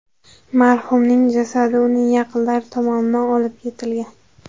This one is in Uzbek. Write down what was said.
Marhumning jasadi uning yaqinlari tomonidan olib ketilgan.